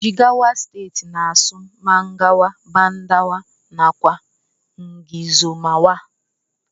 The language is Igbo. Jigawa stetii n asụ mangawa, badawa nakwa ngizomawa.